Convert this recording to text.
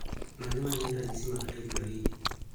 Mage magin ranyisi mag Triploidy